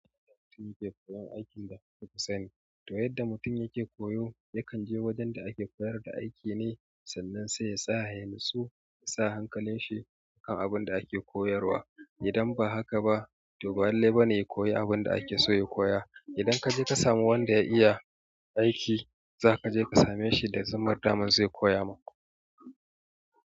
Mutum yake koyon aikin da kuka sani, to yadda mutum yake koyo yakan je wajen da ake koyar da aiki ne sannan sai ya tsaya ya natsu, ya sa hankalin shi akan abin da ake koyarwa. Idan ba haka ba to ba'lalle ba ne ya koyi abin da ake so ya koya. Idan ka je ka samu wanda ya iya aiki za ka je ka same shi da zummar dama zai koya maka.